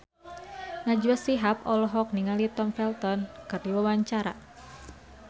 Najwa Shihab olohok ningali Tom Felton keur diwawancara